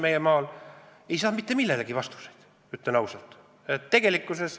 Ütlen ausalt, et ma ei saanud mitte millelegi vastuseid.